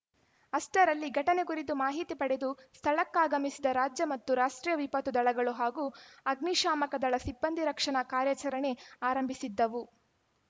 ಅಷ್ಟರಲ್ಲಿ ಘಟನೆ ಕುರಿತು ಮಾಹಿತಿ ಪಡೆದು ಸ್ಥಳಕ್ಕಾಗಮಿಸಿದ ರಾಜ್ಯ ಮತ್ತು ರಾಷ್ಟ್ರೀಯ ವಿಪತ್ತು ದಳಗಳು ಹಾಗೂ ಅಗ್ನಿಶಾಮಕ ದಳ ಸಿಬ್ಬಂದಿ ರಕ್ಷಣಾ ಕಾರ್ಯಾಚರಣೆ ಆರಂಭಿಸಿದ್ದವು